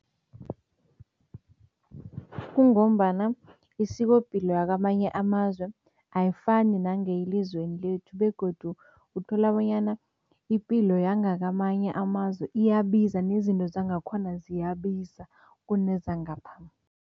Kungombana isikopilo yakwamanye amazwe ayifani nangeyelizweni lethu begodu uthola bonyana ipilo yangakamanye amazwe iyabiza nezinto zangakhona ziyabiza kunezangapha.